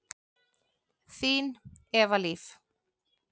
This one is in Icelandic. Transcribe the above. Þín, Eva Líf.